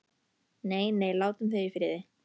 Nei, nei, látum þau í friði.